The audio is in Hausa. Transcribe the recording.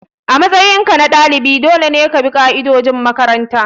A matsayinka na dalibi dole ne ka bi ka'idojin makaranta.